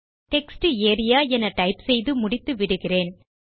textarea என type செய்து முடித்து விடுகிறேன்